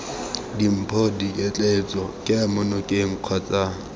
dimpho diketleetso kemo nokeng kgotsa